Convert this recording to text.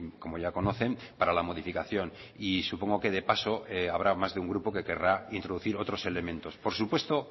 como ya conocen para la modificación y supongo que de paso habrá más de un grupo que querrá introducir otros elementos por supuesto